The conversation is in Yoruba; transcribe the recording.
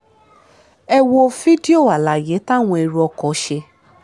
ẹ wo fídíò àlàyé táwọn èrò ọkọ ṣe